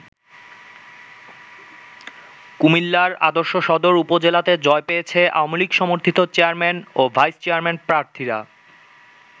কুমিল্লার আদর্শ সদর উপজেলাতে জয় পেয়েছে আওয়ামী লীগ সমর্থিত চেয়ারম্যান ও ভাইস চেয়ারম্যান প্রার্থীরা।